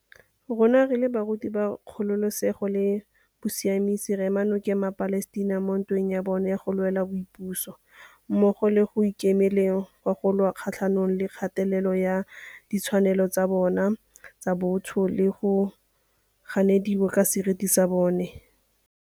Rona re le barati ba kgololesego le bosiamisi re ema no keng maPalestina mo ntweng ya bona ya go lwela boipuso, mmogo le mo go ikemele leng go lwa kgatlhanong le kgatelelo ya ditshwanelo tsa bona tsa botho le go ganediwa ka seriti sa bona.